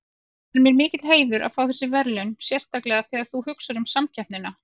Það er mér mikill heiður að fá þessi verðlaun sérstaklega þegar þú hugsar um samkeppnina.